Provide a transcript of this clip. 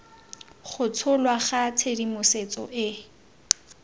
go tsholwa ga tshedimosetso e